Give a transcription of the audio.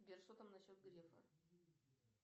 сбер что там насчет грефа